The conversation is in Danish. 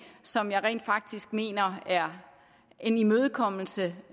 som jeg rent faktisk mener er en imødekommelse